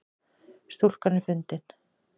Stúlkan er fundin